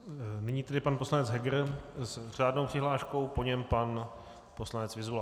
Nyní tedy pan poslanec Heger s řádnou přihláškou, po něm pan poslanec Vyzula.